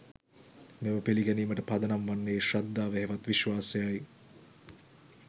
මෙම පිළිගැනීමට පදනම් වන්නේ ශ්‍රද්ධාව හෙවත් විශ්වාසයයි.